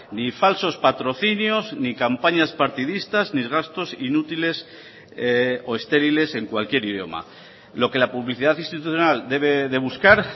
ni falsos patrocinios ni campañas partidistas ni gastos inútiles o estériles en cualquier idioma lo que la publicidad institucional debe de buscar